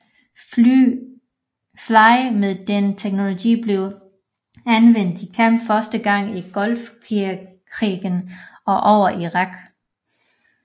Fly med denne teknologi blev anvendt i kamp første gang i Golfkrigen og over Irak